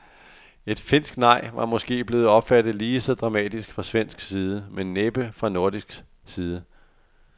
Et finsk nej var måske blevet opfattet lige så dramatisk fra svensk side, men næppe fra nordisk side.